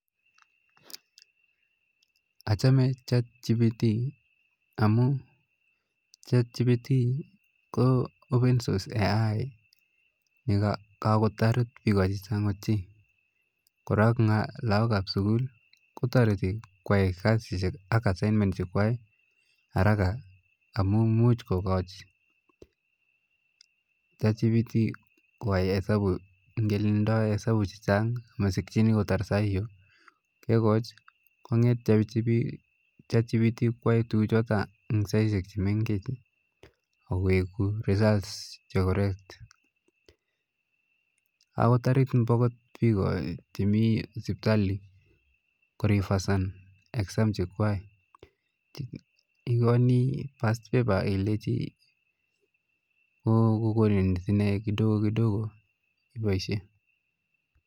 Achamen chatgpt amu chatgpt ko open source ai ne kokatoret bika chechang ochei, korok lakok ap sukul kotoriti kwai kasishek ak assignment chekwai haraka amu muj kukoch chatgpt kwai hesabu kele ndoi hesabu chechang masikchini kotar saiyo kekoch konget chatgpt kua tukuchoto ing saichek chemengech akoweku result che koret ,akot toret mbakot biko chemi sipitali kurifaisan exam chekwa, ikoni pastpaper akilechi kokonin sne kidogo kidogo ipaishe.